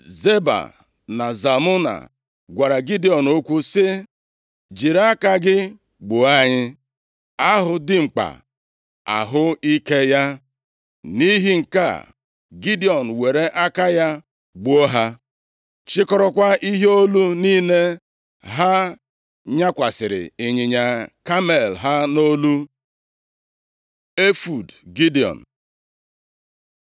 Zeba na Zalmuna, gwara Gidiọn okwu sị, “Jiri aka gị gbuo anyị. ‘A hụ dimkpa, a hụ ike ya.’ ” Nʼihi nke a, Gidiọn were aka ya gbuo ha, chịkọrọkwa ihe olu niile ha nyakwasịrị ịnyịnya kamel ha nʼolu. Efọọd Gidiọn